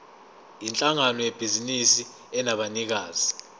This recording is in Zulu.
yinhlangano yebhizinisi enabanikazi